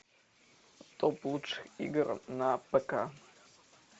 топ лучших игр на пк